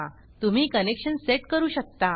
तुम्ही connection set करू शकता